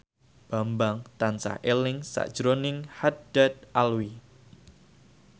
Bambang tansah eling sakjroning Haddad Alwi